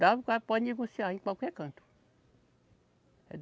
Dá o cara pode negociar em qualquer canto.